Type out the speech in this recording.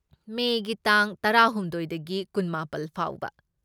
ꯃꯦꯒꯤ ꯇꯥꯡ ꯇꯔꯥꯍꯨꯝꯗꯣꯢꯗꯒꯤ ꯀꯨꯟꯃꯥꯄꯜ ꯐꯥꯎꯕ꯫